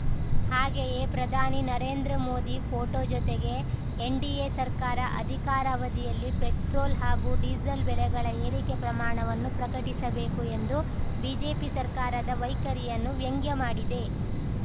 ಹಾಗೆಯೇ ಪ್ರಧಾನಿ ನರೇಂದ್ರ ಮೋದಿ ಫೋಟೊ ಜೊತೆಗೆ ಎನ್‌ಡಿಎ ಸರ್ಕಾರ ಅಧಿಕಾರಾವಧಿಯಲ್ಲಿ ಪೆಟ್ರೋಲ್‌ ಹಾಗೂ ಡೀಸಲ್‌ ಬೆಲೆಗಳ ಏರಿಕೆ ಪ್ರಮಾಣವನ್ನು ಪ್ರಕಟಿಸಬೇಕು ಎಂದು ಬಿಜೆಪಿ ಸರ್ಕಾರದ ವೈಖರಿಯನ್ನು ವ್ಯಂಗ್ಯಮಾಡಿದೆ